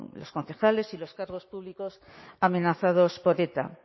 los concejales y los cargos públicos amenazados por eta ya